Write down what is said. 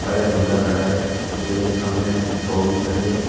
ऊपर एक दूल्हा खड़ा है दूल्हे के सामने बहू खड़ी है।